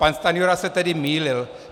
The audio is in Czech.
Pan Stanjura se tedy mýlil.